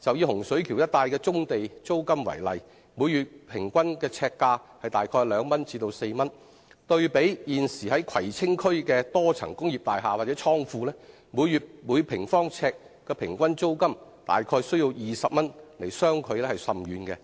以洪水橋一帶的棕地租金為例，每月平均呎價為2元至4元，對比現時葵青區的多層工業大廈或倉庫每月每平方呎的平均租金約20元，相距甚遠。